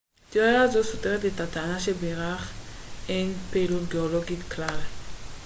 תיאוריה זו סותרת את הטענה שבירח אין פעילות גאולוגית כלל